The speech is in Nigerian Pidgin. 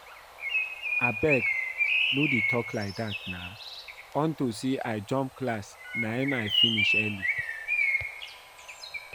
Abeg no dey talk like dat na unto say I jump class na im I finish early